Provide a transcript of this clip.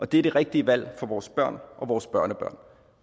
det er det rigtige valg for vores børn og vores børnebørn